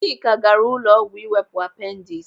Chika gaara ụlọọgwụ iwepụ apendis.